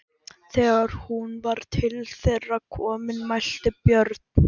Þegar hún var til þeirra komin mælti Björn